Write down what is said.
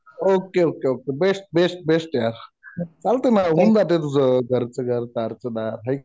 Okay okay okay. Best best best यार. चालतंय ना. होऊन जातं तुझं. घरच घर दारच दार है